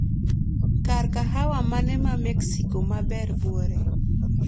Kar kahawa mane mamexico maber buore